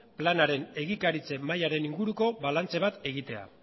planaren egikaritza mailaren inguruko balantze bat egitea